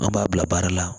An b'a bila baara la